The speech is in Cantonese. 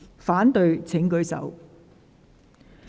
反對的請舉手。